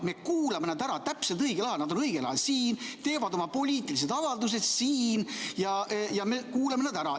Me kuulame nad ära täpselt õigel ajal, nad on õigel ajal siin, teevad oma poliitilised avaldused siin ja me kuulame nad ära.